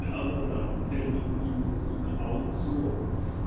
да братан я видел именно сука аукцион